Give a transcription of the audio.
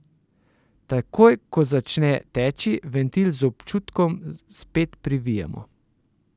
Takoj ko začne teči, ventil z občutkom spet privijemo.